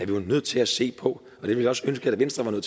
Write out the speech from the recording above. vi jo nødt til at se på og jeg ville også ønske at venstre